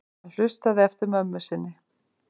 Hann hlustaði eftir mömmu sinni.